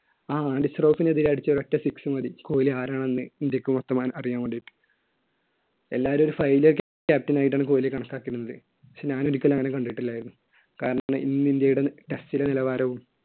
ആ എതിരെ അടിച്ച ഒറ്റ six മതി കോഹ്ലി ആരാണെന്ന് ഇന്ത്യയ്ക്ക് വ്യക്തമായി അറിയാൻ വേണ്ടിയിട്ട്. എല്ലാവരും ഒരു failure captain ആയിട്ടാണ് കോഹ്‌ലിയെ കണക്കാക്കിയിരുന്നത്. പക്ഷെ ഞാൻ ഒരിക്കലും അങ്ങനെ കണ്ടിട്ടില്ലായിരുന്നു. കാരണം ഇന്ന് ഇന്ത്യയുടെ test ലെ നിലവാരവും